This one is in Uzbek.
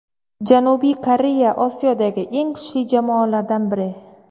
Janubiy Koreya Osiyodagi eng kuchli jamoalardan biri.